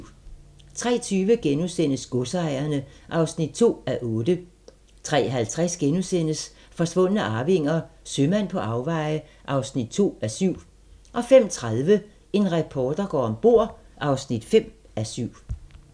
03:20: Godsejerne (2:8)* 03:50: Forsvundne arvinger: Sømand på afveje (2:7)* 05:30: En reporter går om bord (5:7)